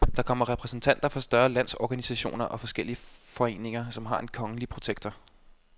Der kommer repræsentanter for større landsorganisationer og forskellige foreninger, som har en kongelige protektor.